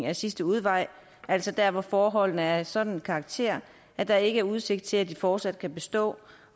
er sidste udvej altså der hvor forholdene er af en sådan karakter at der ikke er udsigt til at boligerne fortsat kan bestå